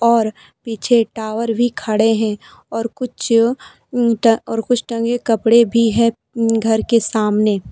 और पीछे टावर भी खड़े हैं और कुछ उनका और कुछ टंगे कपड़े भी हैं घर के सामने।